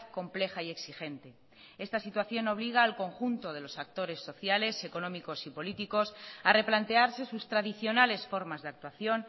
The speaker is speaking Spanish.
compleja y exigente esta situación obliga al conjunto de los actores sociales económicos y políticos a replantearse sus tradicionales formas de actuación